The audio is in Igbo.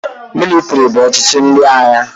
Mịlịtrị bụ ọchịchị ndị agha.